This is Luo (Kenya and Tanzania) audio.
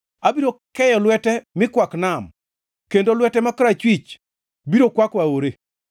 Abiro keyo lwete mi kwak nam, kendo lwete ma korachwich biro kwako aore.